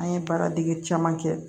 An ye baara dege caman kɛ